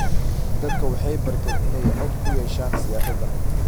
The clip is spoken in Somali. Dadku waxay barteen inay cod ku yeeshaan siyaasadda.